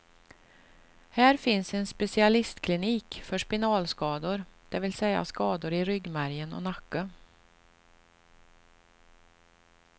Här finns en specialistklinik för spinalskador, det vill säga skador i ryggmärgen och nacke.